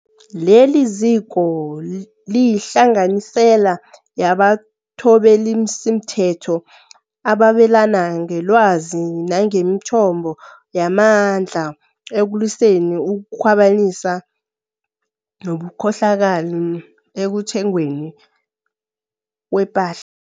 Leliziko liyihlanganisela yabathobelisimthetho ababelana ngelwazi nangemithombo yamandla ekulwiseni ukukhwabanisa nobukhohlakali ekuthengweni kwepahla